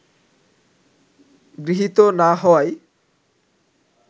গৃহীত না হওয়ায়